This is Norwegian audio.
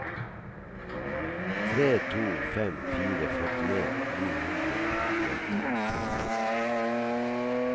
tre to fem fire førtien ni hundre og femtiåtte